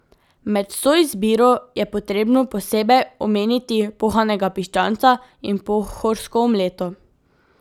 Med vso izbiro je potrebno posebej omeniti pohanega piščanca in pohorsko omleto.